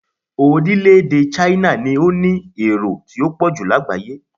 Orílẹ̀-èdè Chne ni ó ní èrò tó pọ̀ jù lágbàáyé